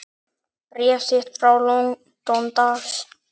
Bréf þitt frá London, dags.